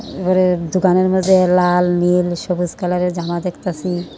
উপরে দোকানের মাঝে লাল নীল সবুজ কালারের জামা দেখতাছি।